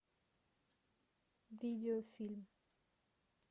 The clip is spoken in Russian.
видеофильм